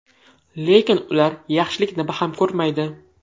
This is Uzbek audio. Lekin ular yaxshilikni baham ko‘rmaydi.